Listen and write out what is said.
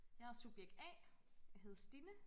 Jeg subjekt A jeg hedder Stinne